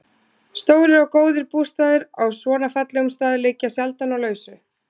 Stórir og góðir bústaðir á svona fallegum stað liggja sjaldan á lausu.